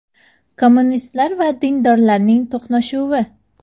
Kommunistlar va dindorlarning to‘qnashuvi.